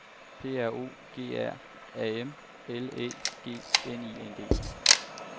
P R O G R A M L Æ G N I N G